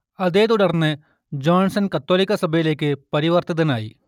അതേത്തുടർന്ന് Johnson കത്തോലിക്കാസഭയിലെക്ക് പരിവർത്തിതനായി